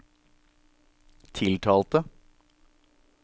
tiltalte